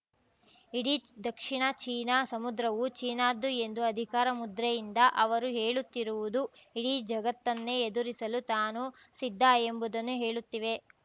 ಇಡೀ ದಕ್ಷಿಣ ಚೀನಾ ಸಮುದ್ರವು ಚೀನಾದ್ದು ಎಂದು ಅಧಿಕಾರಮುದ್ರೆಯಿಂದ ಅವರು ಹೇಳುತ್ತಿರುವುದು ಇಡೀ ಜಗತ್ತನ್ನೇ ಎದುರಿಸಲು ತಾನು ಸಿದ್ಧ ಎಂಬುದನ್ನು ಹೇಳುತ್ತಿವೆ